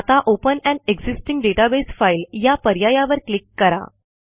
आता open an existing database file या पर्यायावर क्लिक करा